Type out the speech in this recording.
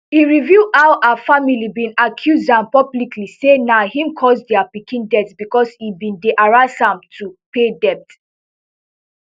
e reveal how her family bin accuse am publicly say na im cause dia pikin death bicos e bin dey harass am to pay debt